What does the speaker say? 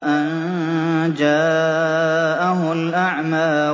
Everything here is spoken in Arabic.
أَن جَاءَهُ الْأَعْمَىٰ